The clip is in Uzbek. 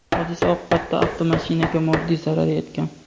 Hodisa oqibatida avtomashinaga moddiy zarar yetgan.